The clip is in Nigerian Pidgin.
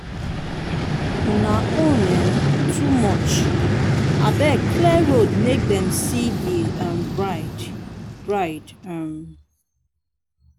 una own um too much. abeg clear road make dem see the um bride. bride. um